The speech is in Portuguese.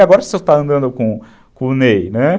E agora você só está andando com o Ney, né?